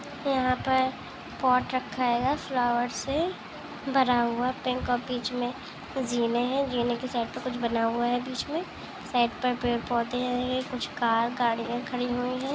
यहाँ पे पॉट रखा हेगा फ्लावर्स से भरा हुआ पिंक और बिच में जीने है जीने क साइड पे कुछ बना हुआ है बिच साइड में पेड़ पौधे है कुछ कार गाड़िया खड़ी हुयी है।